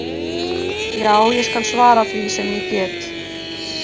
Já, ég skal svara því sem ég get.